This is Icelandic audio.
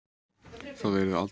Það yrði aldrei frá þeim tekið.